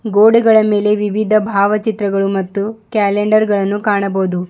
ಗೋಡೆಗಳ ಮೇಲೆ ವಿವಿಧ ಭಾವಚಿತ್ರಗಳು ಮತ್ತು ಕ್ಯಾಲೆಂಡರ್ ಗಳನ್ನು ಕಾಣಬೋದು.